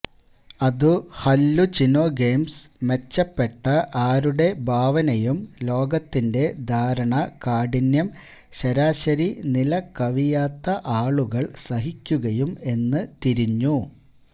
അതു ഹല്ലുചിനൊഗെംസ് മെച്ചപ്പെട്ട ആരുടെ ഭാവനയും ലോകത്തിന്റെ ധാരണ കാഠിന്യം ശരാശരി നില കവിയാത്ത ആളുകൾ സഹിക്കുകയും എന്ന് തിരിഞ്ഞു